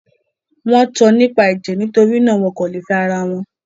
Wọ́n tan nípa ẹ̀jẹ̀; nitori náà, wọn kò lè fẹ́ ara wọn.